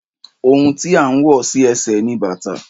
Òhun tí à ń wọ̀ sí ẹsẹ̀ ni bàtà